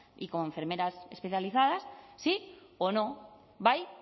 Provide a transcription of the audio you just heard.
y como enfermeras especializadas sí o no bai